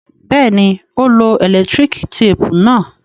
Bẹ́ẹ̀ni, ó lo ẹ̀lẹ́tíríkì téépù náà.